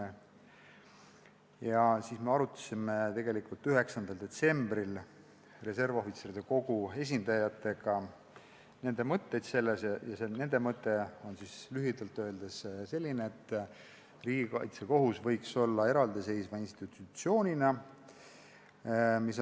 9. detsembril me arutasime Eesti Reservohvitseride Kogu esindajatega nende mõtteid sel teemal ning nende mõte on lühidalt öeldes selline, et võiks olla eraldiseisev institutsioon, riigikaitsekohus.